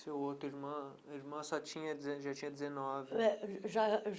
Seu outro irmão já tinha 19.